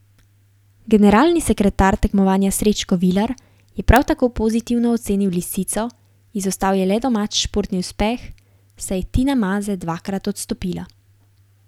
Generalni sekretar tekmovanja Srečko Vilar je prav tako pozitivno ocenil lisico, izostal je le domač športni uspeh, saj je Tina Maze dvakrat odstopila.